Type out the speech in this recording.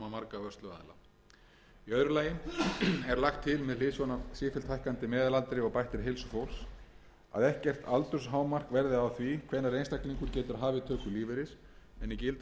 öðru lagi er lagt til með hliðsjón af sífellt hækkandi meðalaldri og bættri heilsu fólks að ekkert aldurshámark verði á því hvenær einstaklingur getur hafið töku lífeyris en í gildandi